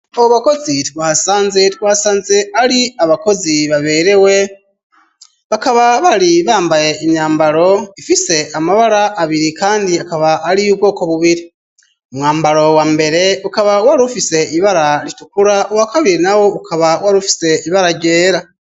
Abo bakozi twahasanze, twasanze ari abakozi baberewe, bakaba bari bambaye imyambaro ifise amabara abiri kandi akaba ari iy'ubwoko bubiri. Umwambaro wa mbere ukaba wari ufise ibara ritukula, uwa kabiri nawo ukaba wari ufise ibara ryera.